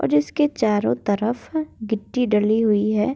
और इसके चारो तरफ गिट्टी डली हुई है।